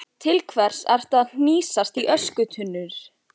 Til hvers ertu að hnýsast í öskutunnur?